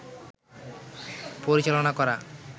পরিচালনা করা